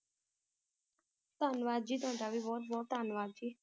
ਧੰਨਵਾਦ ਜੀ ਤੁਹਾਡਾ ਵੀ ਬਹੁਤ ਬਹੁਤ ਧੰਨਵਾਦ ਜੀ